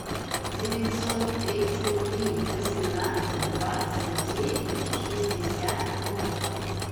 девятьсот тридцать три восемнадцать двадцать девять шестьдесят ноль